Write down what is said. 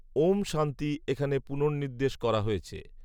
‘ঔম শান্তি’ এখানে পুনর্নির্দেশ করা হয়েছে